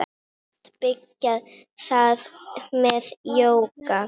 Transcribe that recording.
Allt byrjaði það með jóga.